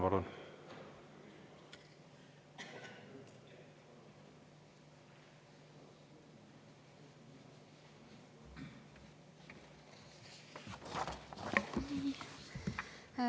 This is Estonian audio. Palun!